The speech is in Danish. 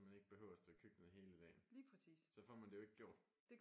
Så man ikke behøver at stå i køkkenet hele dagen så får man det jo ikke gjort